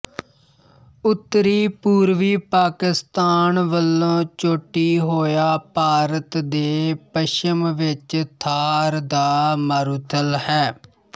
ਉੱਤਰੀ ਪੂਰਵੀ ਪਾਕਿਸਤਾਨ ਵਲੋਂ ਚੋਟੀ ਹੋਇਆ ਭਾਰਤ ਦੇ ਪੱਛਮ ਵਿੱਚ ਥਾਰ ਦਾ ਮਾਰੂਥਲ ਹੈ